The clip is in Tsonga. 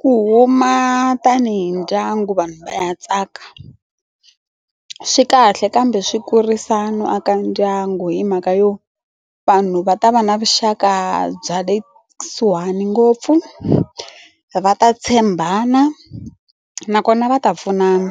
Ku huma tanihi ndyangu vanhu va ya tsaka swi kahle kambe swi kurisa no aka ndyangu hi mhaka yo vanhu va ta va na vuxaka bya le kusuhani ngopfu va ta tshembana nakona va ta pfunana